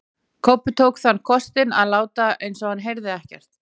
Kobbi tók þann kostinn að láta eins og hann heyrði ekkert.